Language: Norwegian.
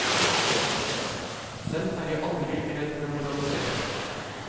Selv er jeg aldri redd for å moralisere.